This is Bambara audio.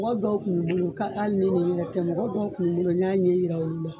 Wɔri dɔw kun be n bolo ka hal ni nege yɛrɛ tɛ mɔgɔ dɔw kun be n bolo n y'a ɲɛ yira olu la.